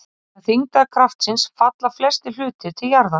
Vegna þyngdarkraftsins falla flestir hlutir til jarðar.